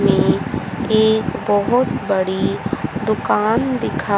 ये एक बहोत बड़ी दुकान दिखा --